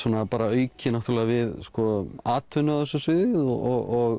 auki við atvinnu á þessu sviði og